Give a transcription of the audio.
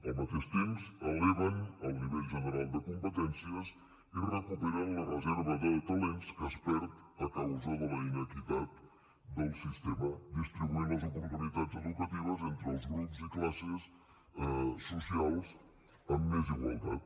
al mateix temps eleven el nivell general de competències i recuperen la reserva de talents que es perd a causa de la inequitat del sistema alhora que distribueixen les oportunitats educatives entre els grups i classes socials amb més igualtat